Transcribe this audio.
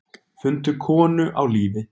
Fundu konu á lífi